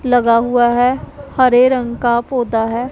लगा हुआ है हरे रंग का पौधा है।